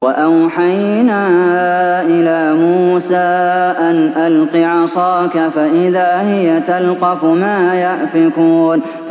۞ وَأَوْحَيْنَا إِلَىٰ مُوسَىٰ أَنْ أَلْقِ عَصَاكَ ۖ فَإِذَا هِيَ تَلْقَفُ مَا يَأْفِكُونَ